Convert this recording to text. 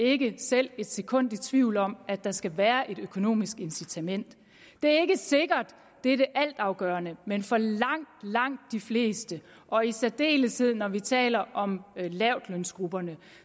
ikke selv et sekund i tvivl om at der skal være et økonomisk incitament det er ikke sikkert det er det altafgørende men for langt langt de fleste og i særdeleshed når vi taler om lavtlønsgrupperne